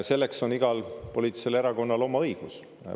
Selleks on igal poliitilisel erakonnal õigus.